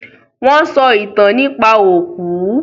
Wọ́n sọ ìtàn nípa òkú.